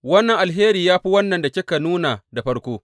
Wannan alheri ya fi wannan da kika nuna da farko.